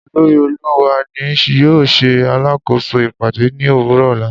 Olori oluwa ni yoo ṣe alakoso ipade ni owurọ ọla